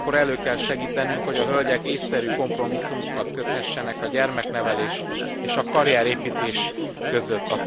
Ugyanakkor elő kell segítenünk, hogy a hölgyek ésszerű kompromisszumokat köthessenek a gyermeknevelés és a karrierépítés között.